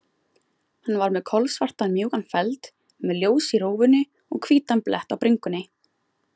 Hann var með kolsvartan, mjúkan feld, með ljós í rófunni og hvítan blett á bringunni.